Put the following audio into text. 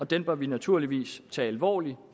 den bør vi naturligvis tage alvorlig